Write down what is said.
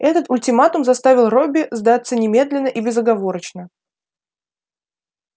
этот ультиматум заставил робби сдаться немедленно и безоговорочно